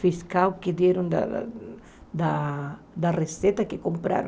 fiscal que deram da da da receita que compraram.